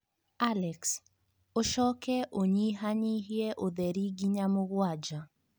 Alex, ũcoke ũnyihanyihie ũtheri nginya mũgwanja.